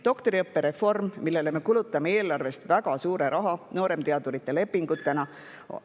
Doktoriõppereform, millele me kulutame eelarvest väga suure raha nooremteadurite lepingutena ...